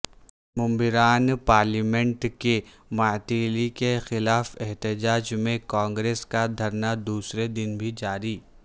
ممبران پارلیمنٹ کی معطلی کے خلاف احتجاج میں کانگریس کا دھرنا دوسرے دن بھی جاری